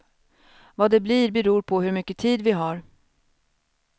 Vad det blir beror på hur mycket tid vi har.